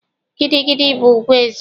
Gidi gidi bụ ugwu eze.